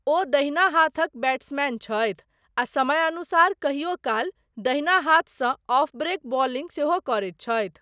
ओ दाहिना हाथक बैट्समैन छथि आ समयानुसार कहियो काल दहिना हाथसँ ऑफ़ब्रेक बॉलिंग सेहो करैत छथि।